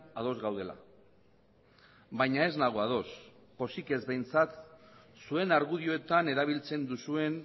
ados gaudela baina ez nago ados pozik ez behintzat zuen argudioetan erabiltzen duzuen